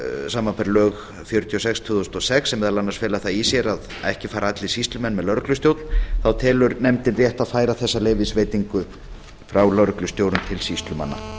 samanber lög númer fjörutíu og sex tvö þúsund og sex sem meðal annars fela það í sér að ekki fara allir sýslumenn með lögreglustjórn þá telur nefndin rétt að færa þessa leyfisveitingu frá lögreglustjórum til sýslumanna